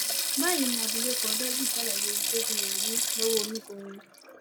báyìí ni abilékọ òdengul ṣàlàyé ohun tójú ẹ rí lọwọ omìnkọrò